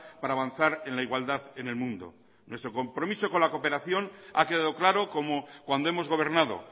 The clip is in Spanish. para avanzar en la igualdad en el mundo nuestro compromiso con la cooperación ha quedado claro como cuando hemos gobernado